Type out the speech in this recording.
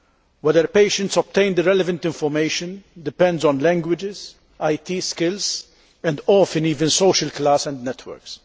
Whether patients obtain the relevant information depends on languages, IT skills and often even social class and networks.